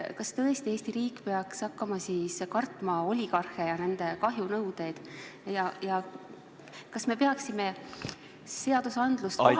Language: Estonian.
Kas tõesti Eesti riik peaks hakkama kartma oligarhe ja nende kahjunõudeid ja kas me peaksime seadustikku kohandama ...